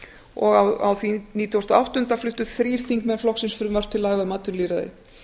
og á því nítugasta og áttunda fluttu þrír þingmenn flokksins frumvarp til laga um atvinnulýðræði